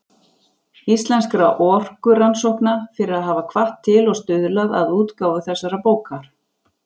Íslenskra orkurannsókna, fyrir að hafa hvatt til og stuðlað að útgáfu þessarar bókar.